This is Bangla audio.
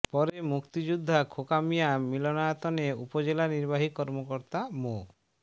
পরে মুক্তিযোদ্ধা খোকা মিয়া মিলনায়তনে উপজেলা নির্বাহী কর্মকর্তা মো